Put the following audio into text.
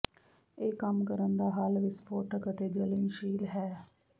ਇਹ ਕੰਮ ਕਰਨ ਦਾ ਹੱਲ ਵਿਸਫੋਟਕ ਅਤੇ ਜਲਣਸ਼ੀਲ ਹੈ